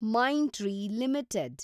mind tree limited